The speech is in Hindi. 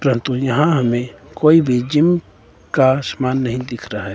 परंतु यहां हमें कोई भी जिम का समान नहीं दिख रहा है।